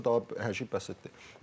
Orda daha hər şey bəsitdir.